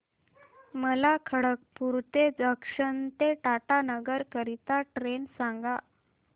मला खडगपुर जंक्शन ते टाटानगर करीता ट्रेन सांगा